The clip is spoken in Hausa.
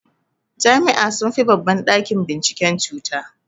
Jami'a sunfi babban ɗakin binciken cuta.